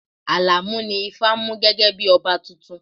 Alamu ni ifá mú gẹ́gẹ́ bí ọba tuntun